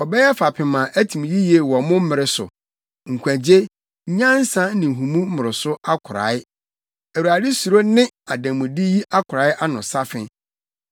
Ɔbɛyɛ fapem a atim yiye wɔ mo mmere so, nkwagye, nyansa ne nhumu mmoroso akorae; Awurade suro ne ademude yi akorae ano safe.